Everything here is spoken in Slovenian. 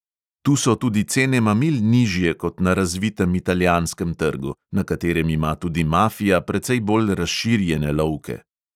Tu so tudi cene mamil nižje kot na razvitem italijanskem trgu, na katerem ima tudi mafija precej bolj razširjene lovke.